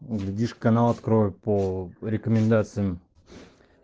глядишь канал открою по рекомендациям